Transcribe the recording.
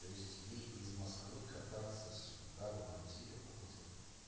то есть ей из москвы кататься сюда в ивантеевку то есть вот